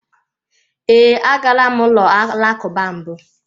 Ee, agala m ụlọ alakụba mbụ.